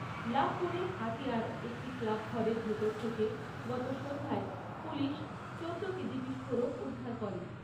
লাভপুরের হাতিয়ায় একটি ক্লাবঘরের ভেতর থেকে গত সন্ধ্যায় পুলিশ চোদ্দো কেজি বিস্ফোরক উদ্ধার করে।